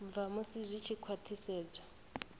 bva musi zwi tshi khwathisedzwa